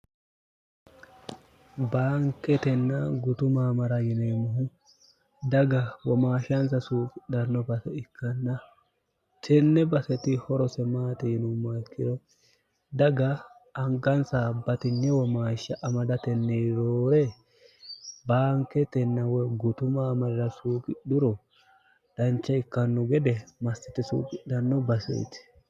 baanketenna gutuma amara yineemmohu daga womaahshaansa suuqidhanno bae ikkanna tenne baseti horose maateyinummaikkiro daga angansa batinye womaashsha amadatenni roore baanketenna woy gutuma amarira suuqidhuro dancha ikkannu gede massiti suuqidhanno baseeti